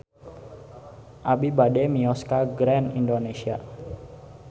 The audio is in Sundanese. Abi bade mios ka Grand Indonesia